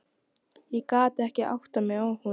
Ég gat ekki áttað mig á honum.